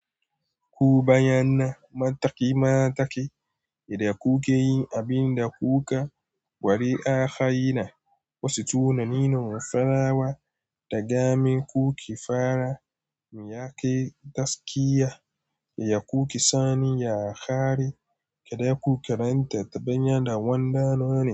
Ku bayyana mataki-mataki yadda kuke yin abin da kuka gwari a hayina, wasu tunanin farawa da gamin kuki fara, miya ke daskiya, yadda kuke sani ya kare, kada ku karanta taɓonya da wanda nawa ne.